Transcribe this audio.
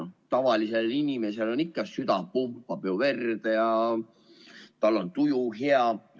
No tavalisel inimesel ikka ju süda pumpab verd ja tal on tuju hea.